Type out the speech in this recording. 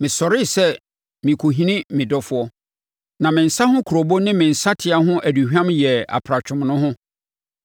Mesɔree sɛ merekɔhini me dɔfoɔ, na me nsa ho kurobo ne me nsateaa ho aduhwam, yɛɛ apratwom no ho.